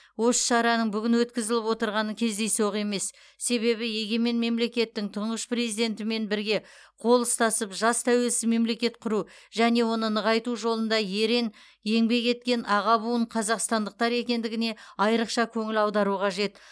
осы шараның бүгін өткізіліп отырғаны кездейсоқ емес себебі егемен мемлекеттің тұңғыш президентімен бірге қол ұстасып жас тәуелсіз мемлекет құру және оны нығайту жолында ерең еңбек еткен аға буын қазақстандықтар екендігіне айрықша көңіл аудару қажет